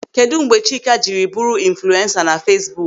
Kedụ mgbe Chika jiri bụrụ infulensa na Feesbuk?